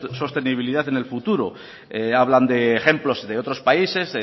su sostenibilidad en el futuro hablan de ejemplos de otros países